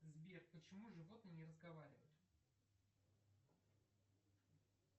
сбер почему животные не разговаривают